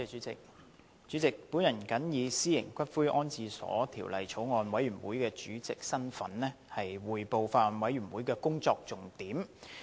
主席，我謹以《私營骨灰安置所條例草案》委員會主席的身份，匯報法案委員會工作的重點。